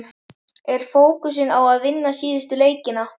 Er fókusinn á að vinna síðustu leikina?